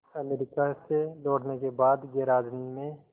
America से लौटने के बाद गैराज में